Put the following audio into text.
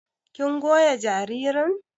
kin goya jaririn?